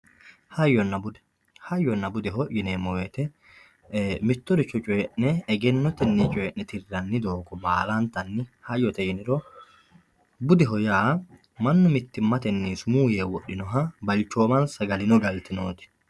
hayyonna bude hayyonna budeho yineemo woyiite mittoricho coyii'ne egennotenni coyii'ne tirranni doogo baalantanni hayyote yiniro bude yaa mannu mittimate sumu yee woxxinoha balchoomansa agarino galtinooti.